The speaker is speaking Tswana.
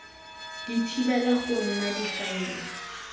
di thibela go nna difaele